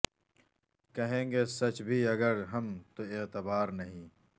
کہیں گے سچ بھی اگر ہم تو اعتبار نہیں